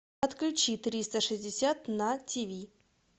отключи триста шестьдесят на тиви